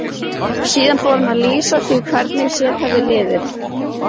Síðan fór hún að lýsa því hvernig sér hefði liðið.